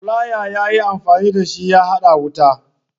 Flaya ya yi amfani da shi ya haɗa wayan wutan.